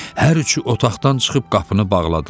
Hər üçü otaqdan çıxıb qapını bağladılar.